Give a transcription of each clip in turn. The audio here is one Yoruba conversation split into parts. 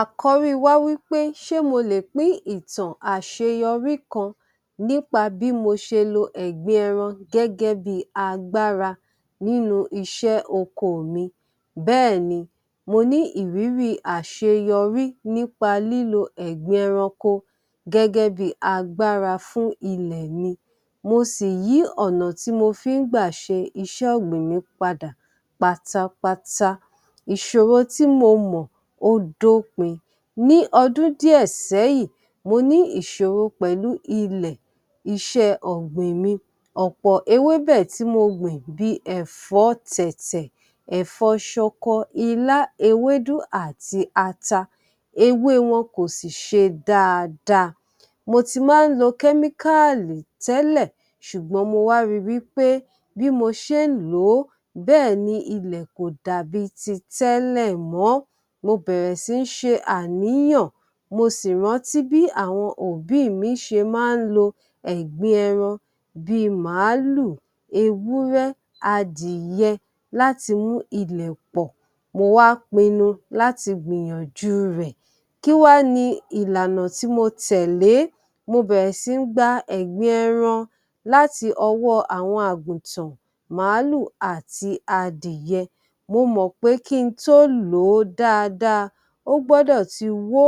Àkọ́rí wá wí pé ṣé mo lè pín ìtàn àṣeyọrí kan nípa bí mo ṣe lo ẹ̀gbin ẹran gẹ́gẹ́ bí i agbára nínú iṣẹ́ oko mi? Mo ní ìrírí àṣeyọrí nípa lílo ẹ̀gbin ẹranko gẹ́gẹ́ bí i agbára fún ilẹ̀ mi, mo sì yí ọ̀nà tí mo fi ń gbà ṣe iṣẹ́ ọ̀gbìn mi padà pátápátá, Ìṣòro tí mo mọ̀ ó dópin. Ní ọdún díẹ̀ sẹ́yìn, mo ní ìṣòro pẹ̀lú ilẹ̀ iṣẹ́ ọ̀gbìn mi, ọ̀pọ̀ ewébẹ̀ tí mo gbìn bí i ẹ̀fọ́ tẹ̀tẹ̀, ẹ̀fọ́ ṣọkọ, ilá, ewédú àti ata, ewé wọn kò sì ṣe dáadáa. Mo ti máa ń lo chemical tẹ́lẹ̀, ṣùgbọ́n mo wá ri wí pé bí mo ṣe ń lò ó bẹ́ẹ̀ ni ilẹ̀ kò dàbí ti tẹ́lẹ̀ mọ́. Mo bẹ̀rẹ̀ sí ṣe àníyàn mo sì rántí bí àwọn òbí mi ṣe máa ń lo ẹ̀gbin ẹran bí i màálù, ewúrẹ́, adìyẹ, láti mú ilẹ̀ pọ̀. Mo wá pinnú láti gbìyànjú rẹ̀. Kí wá ni ìlànà tí mo tẹ̀lé? Mo bẹ̀rẹ̀ sí gba ẹ̀gbin ẹran láti ọwọ́ àwọn àgùntàn, màálù àti adìyẹ. Mo mọ̀ pé kí n tó lò ó dáadáa ó gbọ́dọ̀ ti wó.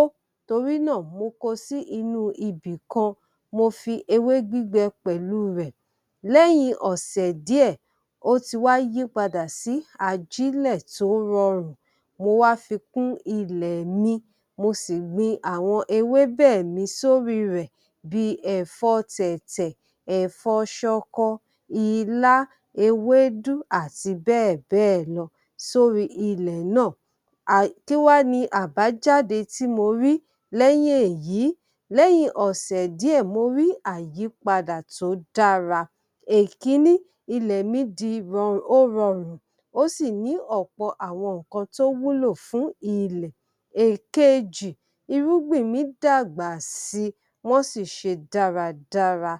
Torí náà mo ko sí inú ibìkan, mo fi ewé gbígbẹ pẹ̀lú rẹ̀. Lẹ́yìn ọ̀sẹ̀ díẹ̀ ó ti wá yípadà sí ajílẹ̀ tó rọrùn mo wá fi kún ilẹ̀ mi, mo sì gbin àwọn ewébẹ̀ mi sórí rẹ̀ bí i ẹ̀fọ́ tẹ̀tè, ẹ̀fọ́ ṣọkọ, ilá, ewédú àti bẹ́ẹ̀ bẹ́ẹ̀ lọ sórí ilẹ̀ náà um kí wá ni àbájáde tí mo rí lẹ́yìn èyí? Lẹ́yìn ọ̀sẹ̀ díẹ̀ mo rí àyípadà tí ó dára. Èkiní, ilẹ̀ mi di ó rọrùn, ó sì ní ọ̀pọ̀ àwọn nǹkan tó wúlò fún ilẹ̀. Èkejì, irúgbìn mi dàgbà si, wọ́n sì ṣe dáradára.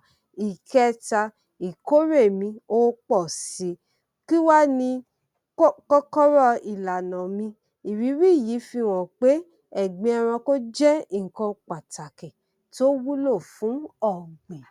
Ìkẹta, ìkórè mi ó pọ̀ si. Kí wá ni um kọ́kọ́rọ́ ìlànà mi? Ìrírí yìí fi hàn pé ẹ̀gbin ẹrankó jẹ́ nǹkan pàtàkì tó wúlò fún ọ̀gbìn.